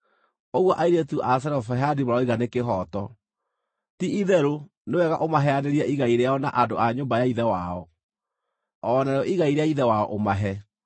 “Ũguo airĩtu a Zelofehadi maroiga nĩ kĩhooto. Ti-itherũ nĩ wega ũmaheanĩrie igai rĩao na andũ a nyũmba ya ithe wao, o narĩo igai rĩa ithe wao ũmahe.